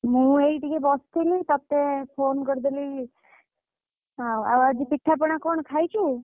ମୁଁ ଏଇ ଟିକେ ବସିଥିଲି ତତେ phone କରିଦେଲି, ଆଉ ଆଜି ପିଠା ପଣା କଣ ଖାଇଛୁ?